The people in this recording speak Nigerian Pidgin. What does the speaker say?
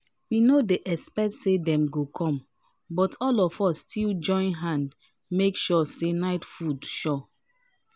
we no expect say dem go come but all of us still join hand make sure say night food sure